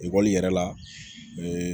Ekɔli yɛrɛ la